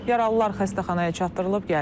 Yaralılar xəstəxanaya çatdırılıb.